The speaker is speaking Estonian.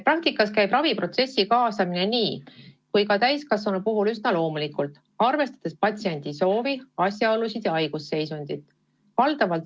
Praktikas käib raviprotsessi kaasamine nii laste kui ka täiskasvanute puhul üsna loomulikult, arvestades patsiendi soovi, asjaolusid ja haigusseisundit.